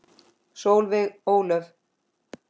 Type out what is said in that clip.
Solveig Ólöf.